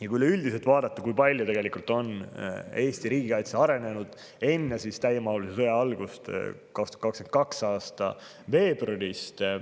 Vaatame üldiselt, kui palju on Eesti riigikaitse arenenud, vaatame aega enne täiemahulise sõja algust, enne 2022. aasta veebruari.